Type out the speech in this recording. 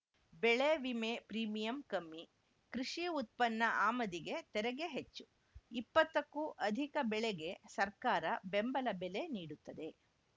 ಬೆಳೆ ವಿಮೆ ಪ್ರೀಮಿಯಂ ಕಮ್ಮಿ ಕೃಷಿ ಉತ್ಪನ್ನ ಆಮದಿಗೆ ತೆರಿಗೆ ಹೆಚ್ಚು ಇಪ್ಪತ್ತಕ್ಕೂ ಅಧಿಕ ಬೆಳೆಗೆ ಸರ್ಕಾರ ಬೆಂಬಲ ಬೆಲೆ ನೀಡುತ್ತದೆ